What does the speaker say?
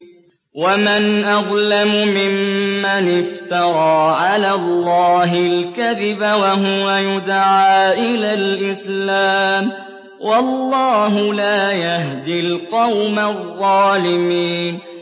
وَمَنْ أَظْلَمُ مِمَّنِ افْتَرَىٰ عَلَى اللَّهِ الْكَذِبَ وَهُوَ يُدْعَىٰ إِلَى الْإِسْلَامِ ۚ وَاللَّهُ لَا يَهْدِي الْقَوْمَ الظَّالِمِينَ